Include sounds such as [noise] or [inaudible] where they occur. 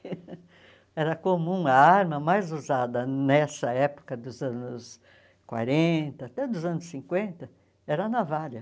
[laughs] Era comum, a arma mais usada nessa época dos anos quarenta, até dos anos cinquenta, era a navalha.